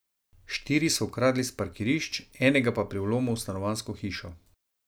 Štiri so ukradli s parkirišč, enega pa pri vlomu v stanovanjsko hišo.